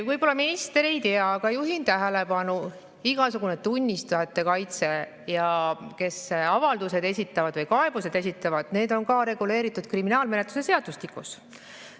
" Võib-olla minister ei tea, aga juhin tähelepanu, et igasugune tunnistajate kaitse ja, kes avaldused esitavad või kaebused esitavad, need on reguleeritud kriminaalmenetluse seadustikus.